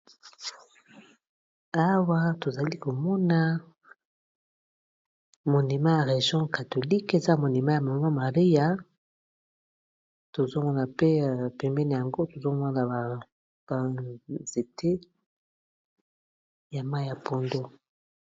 Awa tozali komona monima ya region catholique eza monima ya mama maria tozomona mpe pemene yango tozomona na badanzete ya mai ya pondo.